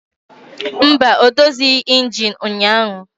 Mba, o dozighị injin ụnyahụ